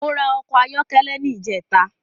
Mo ra ọkọ̀ ayọ́kẹ́lẹ́ ní ìjẹta